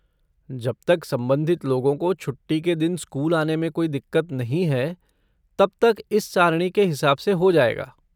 जब तक संबंधित लोगों को छुट्टी के दिन स्कूल आने में कोई दिक्कत नहीं है, तब तक इस सारणी के हिसाब से हो जाएगा।